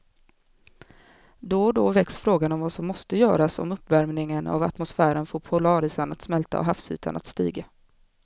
Då och då väcks frågan om vad som måste göras om uppvärmingen av atmosfären får polarisarna att smälta och havsytan att stiga.